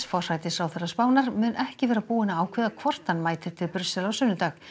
forsætisráðherra Spánar mun ekki vera búinn að ákveða hvort hann mætir til Brussel á sunnudag